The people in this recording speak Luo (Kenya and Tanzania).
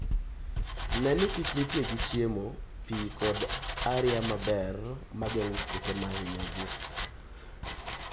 Ne ni kich nitie gi chiemo, pi, kod aria maber mageng'o kute ma hinyogi.